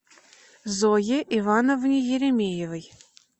зое ивановне еремеевой